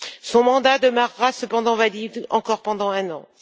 Son mandat demeurera cependant valide encore pendant un an.